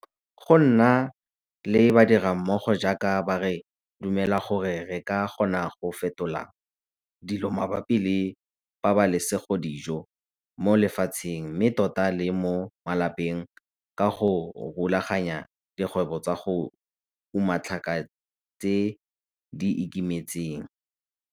Go nna le badirammogo jaaka ba re dumela gore re ka kgona go fetola dilo mabapi le pabalesegodijo mo lefatsheng mme tota le mo malapeng ka go rulaganya dikgwebo tsa go uma tlhaka tse di ikemetseng.